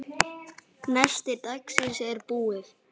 Nesti dagsins er búið.